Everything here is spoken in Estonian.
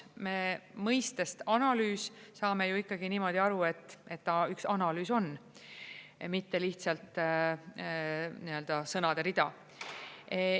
Me mõistest analüüs saame ju ikkagi niimoodi aru, et ta üks analüüs on, mitte lihtsalt sõnade rida.